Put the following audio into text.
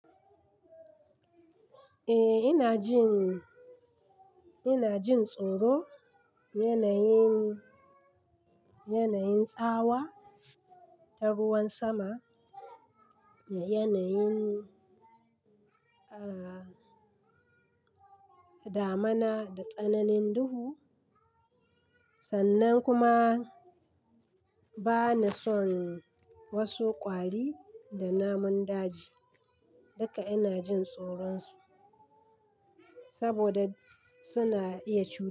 Eh ina jin, ina jin tsoro yanayin, yanayin tsawa ta ruwan sama, da yanayin, damuna da tsananin duhu. Sannan kuma bana son wasu kwari da namun daji. Duka ina jin tsoron su saboda suna iya ciwo.